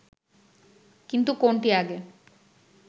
কিন্তু কোনটি আগে